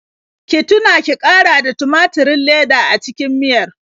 Ki tuna ki ƙara da tumaturin leda a cikin miyar.